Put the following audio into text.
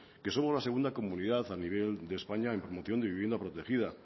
que somos la segunda comunidad a nivel de españa en promoción de vivienda protegida